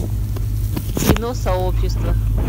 кино сообщество